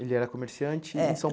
Ele era comerciante em São